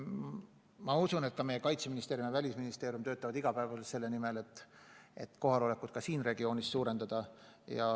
Ma usun, et ka meie Kaitseministeerium ja Välisministeerium töötavad iga päev selle nimel, et liitlaste kohalolekut siin regioonis suurendada.